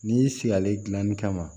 N'i sigilen dilanni kama